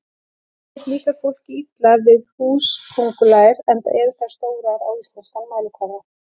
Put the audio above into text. yfirleitt líkar fólki illa við húsaköngulær enda eru þær stórar á íslenskan mælikvarða